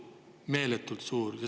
Meeletult suur!